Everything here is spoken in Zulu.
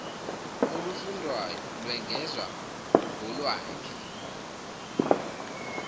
olufundwayo lwengezwa kolwakhe